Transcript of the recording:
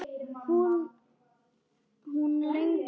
Hvað lengi, hvað lengi?